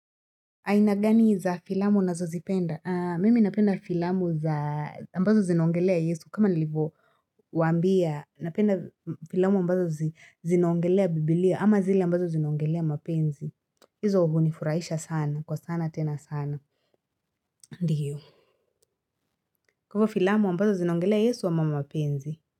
Aina gani za filamu nazozipenda? Mimi napenda filamu za ambazo zinaongelea yesu kama nalivo waambia napenda filamu ambazo zinaongelea bibilia ama zile ambazo zinaongelea mapenzi hizo hunifurahisha sana kwa sana tena sana ndiyo. Kwa hivo filamu ambazo zinaongelea yesu ama mapenzi.